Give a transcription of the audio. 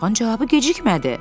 Dağın cavabı gecikmədi.